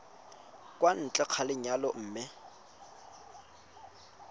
kwa ntle ga lenyalo mme